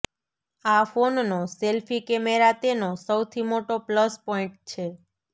આ ફોનનો selfie camera તેનો સૌથી મોટો પ્લસ પોઈન્ટ છે